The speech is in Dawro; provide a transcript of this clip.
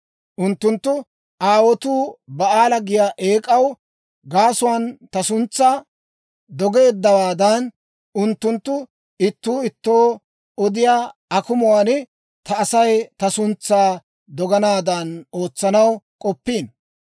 Unttunttu aawotuu Ba'aala giyaa eek'aa gaasuwaan ta suntsaa dogeeddawaadan, unttunttu ittuu ittoo odiyaa akumuwaan ta Asay ta suntsaa doganaadan ootsanaw k'oppiino.